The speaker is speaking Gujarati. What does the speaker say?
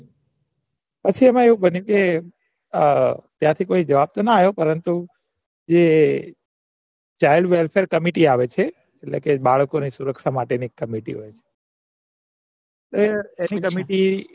પછી એમાં આવું બન્યું કે અ ત્યાંથી કોઈ જવાબ તો ના પરંતુ જે એટલે કે બાળકો ને સુરક્ષા માટે ની કમિટી